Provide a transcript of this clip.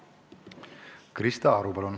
Krista Aru, palun!